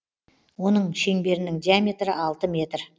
оның шеңберінің диаметрі алты метр